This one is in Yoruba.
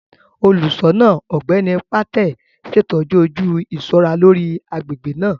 Olùṣọ náà, Ọgbẹni Patel, ṣetọju oju iṣọra lórí agbègbè naa.